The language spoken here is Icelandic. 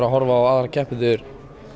að horfa á aðra keppendur